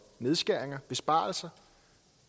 nedskæringer besparelser